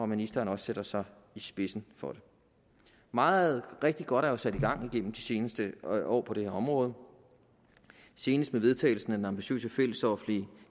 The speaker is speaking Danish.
ministeren også sætter sig i spidsen for det meget rigtig godt er jo blevet sat i gang igennem de seneste år år på det her område senest med vedtagelsen af den ambitiøse fællesoffentlige